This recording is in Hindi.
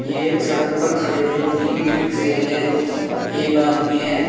ये एक सड़क पर खड़े हुए तीन रिक्शे हैं एक आदमी है।